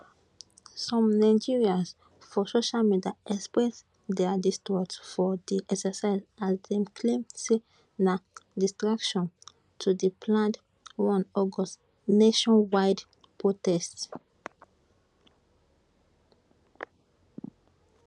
some nigerans for social media express dia distrust for di exercise as dem claim say na distraction to di planned 1 august nationwide protest